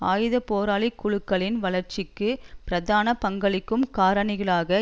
ஆயுதப்போராளிக் குழுக்களின் வளர்ச்சிக்கு பிரதான பங்களிக்கும் காரணிகளாக